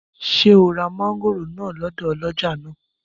Ṣé ò ra mọ́ngòrò náà lọ́dọ̀ ọlọ́jà náà?